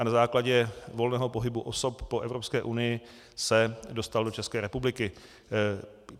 A na základě volného pohybu osob po Evropské unii se dostal do České republiky.